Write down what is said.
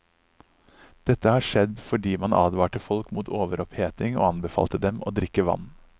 Dette har skjedd fordi man advarte folk mot overoppheting og anbefalte dem å drikke vann.